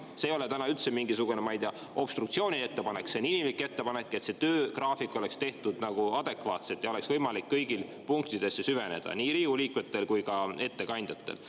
See ei ole täna üldse mingisugune, ma ei tea, obstruktsiooniline ettepanek, see on inimlik ettepanek, et töögraafik oleks tehtud adekvaatselt ja et kõigil oleks võimalik punktidesse süveneda, nii Riigikogu liikmetel kui ka ettekandjatel.